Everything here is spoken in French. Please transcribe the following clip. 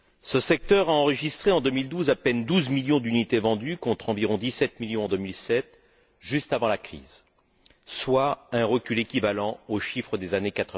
Ce secteur a enregistré en 2012 à peine douze millions d'unité vendues contre environ dix sept millions en 2007, juste avant la crise, soit un recul ramenant aux chiffres des années